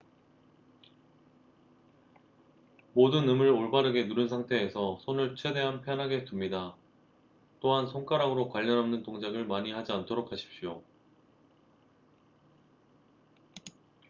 모든 음을 올바르게 누른 상태에서 손을 최대한 편하게 둡니다 또한 손가락으로 관련 없는 동작을 많이 하지 않도록 하십시오